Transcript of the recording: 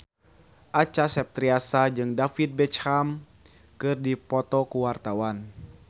Acha Septriasa jeung David Beckham keur dipoto ku wartawan